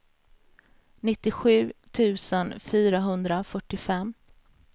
nittiosju tusen fyrahundrafyrtiofem